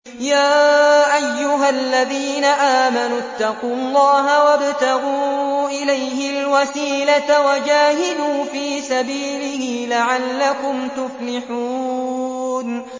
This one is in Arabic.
يَا أَيُّهَا الَّذِينَ آمَنُوا اتَّقُوا اللَّهَ وَابْتَغُوا إِلَيْهِ الْوَسِيلَةَ وَجَاهِدُوا فِي سَبِيلِهِ لَعَلَّكُمْ تُفْلِحُونَ